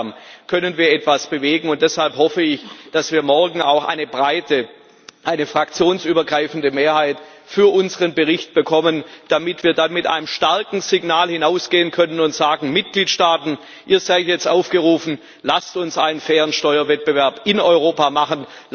Gemeinsam können wir etwas bewegen, und deshalb hoffe ich, dass wir morgen auch eine breite, eine fraktionsübergreifende Mehrheit für unseren Bericht bekommen, damit wir dann mit einem starken Signal hinausgehen und sagen können Mitgliedstaaten, ihr seid jetzt aufgerufen, lasst uns einen fairen Steuerwettbewerb in Europa machen!